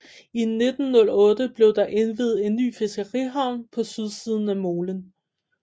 I 1908 blev der indviet en ny fiskerihavn på sydsiden af molen